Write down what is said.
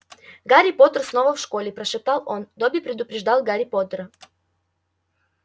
гарри поттер снова в школе прошептал он добби предупреждал гарри поттера